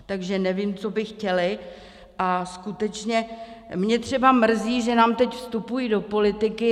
Takže nevím, co by chtěli, a skutečně mě třeba mrzí, že nám teď vstupují do politiky.